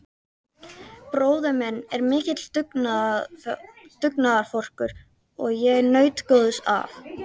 Bróðir minn er mikill dugnaðarforkur og ég naut góðs af.